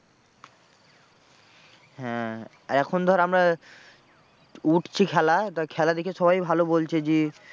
হ্যাঁ আর এখন ধর আমরা উঠছি খেলা তা খেলা দেখে সবাই ভালো বলছে যে